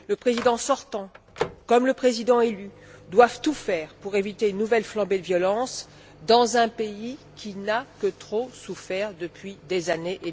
Le président sortant comme le président élu doivent tout faire pour éviter une nouvelle flambée de violence dans un pays qui n'a que trop souffert depuis des années.